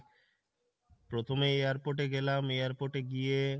প্রথমে airport এ গেলাম airport এ গিয়ে